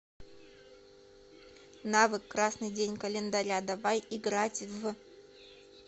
навык красный день календаря давай играть в